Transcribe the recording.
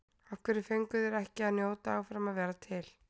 Af hverju fengu þeir ekki að njóta áfram að vera til?